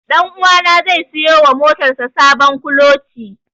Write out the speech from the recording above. Ɗanuwa na zai siyo wa motar sa sabon kuloci.